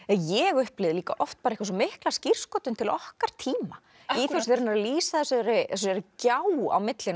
ég upplifði líka oft svo mikla skírskotun til okkar tíma í þessu þegar hann er að lýsa þessari gjá á milli